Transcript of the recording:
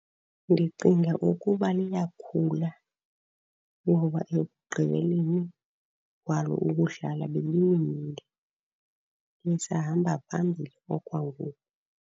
Ndicinga ukuba liyakhula, ngoba ekugqibeleni kwalo ukudlala bebewinile. Lisahamba phambili okwangoku.